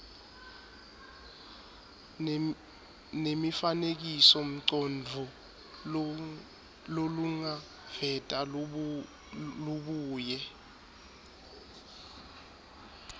nemifanekisomcondvo lolungaveta lubuye